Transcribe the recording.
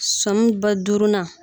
Sɔn m ba duurunan